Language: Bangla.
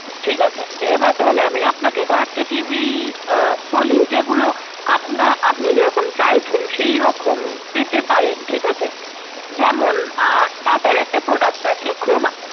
ঠিকাছে এবার তাহলে আমি আপনাকে কয়েকটা TV আহ বলি যেগুলো আপনা~ আপনি যেরকম চাইছেন সেইরকম পেতে পারেন ঠিকাছে, যেমন TATA র একটা product আছে Croma